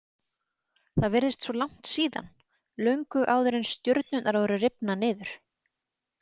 Það virðist svo langt síðan, löngu áður en stjörnurnar voru rifnar niður.